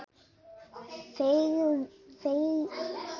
Fegurð er afstætt hugtak.